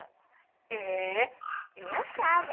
É, e me achava.